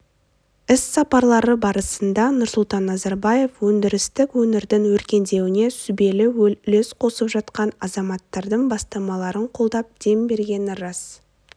іс-сапарлары барысында нұрсұлтан назарбаев өндірістік өңірдің өркендеуіне сүбелі үлес қосқан азаматтардың бастамаларын қолдап дем бергені рас